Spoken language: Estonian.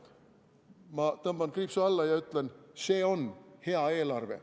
Ma tõmban kriipsu alla ja ütlen: see on hea eelarve.